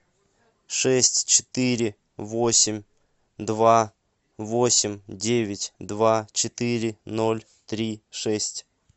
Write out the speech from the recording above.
шесть четыре восемь два восемь девять два четыре ноль три шесть